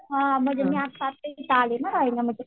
हा म्हणजे मी आत्ता आत्ता इथे आले ना रहायला म्हणजे